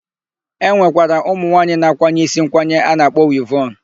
E nwekwara ụmụnwaanyị na-akwanye isi nkwanye a na-akpọ wivọn.